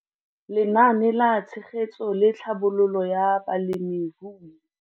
Lenaane la Tshegetso le Tlhabololo ya Balemirui.